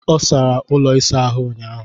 Ọ sara ụlọ ịsa ahụ ụnyaahụ.